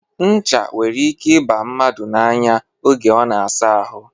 Ncha nwere ike ịba mmadụ n'anya oge ọ na-asa ahụ.